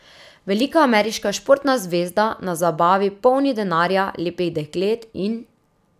Velika ameriška športna zvezda na zabavi polni denarja, lepih deklet in ...